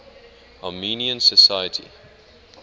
armenian society